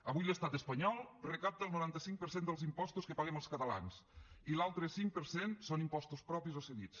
avui l’estat espanyol recapta el noranta cinc per cent dels impostos que paguem els catalans i l’altre cinc per cent són impostos propis o cedits